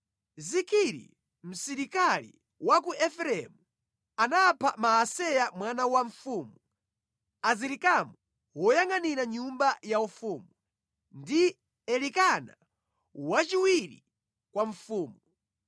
Zikiri msilikali wa ku Efereimu, anapha Maaseya mwana wa mfumu, Azirikamu woyangʼanira nyumba yaufumu, ndi Elikana wachiwiri kwa mfumu.